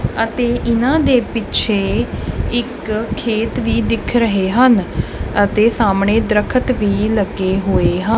ਅਤੇ ਇਹਨਾਂ ਦੇ ਪਿੱਛੇ ਇੱਕ ਖੇਤ ਵੀ ਦਿਖ ਰਹੇ ਹਨ ਅਤੇ ਸਾਹਮਣੇ ਦਰਖਤ ਵੀ ਲੱਗੇ ਹੋਏ ਹਾਂ--